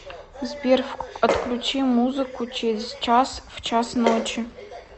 сбер отключи музыку через час в час ночи